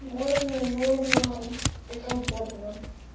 можно и нужно и комфортно